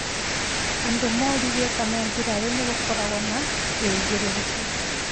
Andũ moririe kana mbirarũ nĩgũkorwo na wĩigĩrĩrĩku